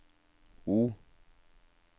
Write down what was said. O